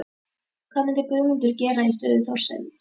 Hvað myndi Guðmundur gera í stöðu Þorsteins?